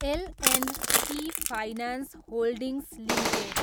L and T finance holdings limited